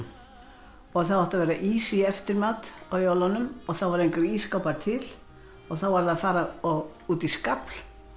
og það átti að vera ís í eftirmat á jólunum og þá voru engir ísskápar til og þá varð að fara út í skafl